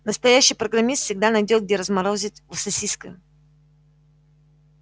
настоящий программист всегда найдёт где разморозить сосиска